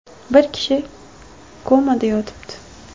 Bir kishi komada yotibdi.